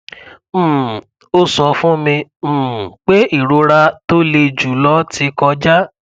um ó sọ fún mi um pé ìrora tó le jùlọ ti kọjá